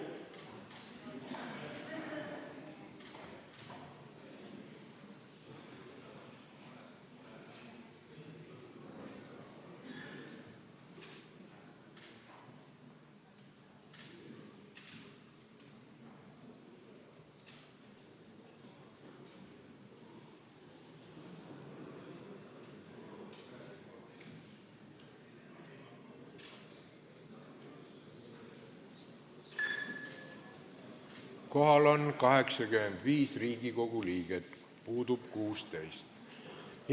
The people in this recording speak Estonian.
Kohaloleku kontroll Kohal on 85 Riigikogu liiget, puudub 16.